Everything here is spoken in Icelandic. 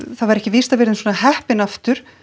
það væri ekki víst að við yrðum svona heppin aftur